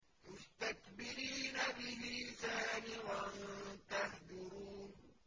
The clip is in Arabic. مُسْتَكْبِرِينَ بِهِ سَامِرًا تَهْجُرُونَ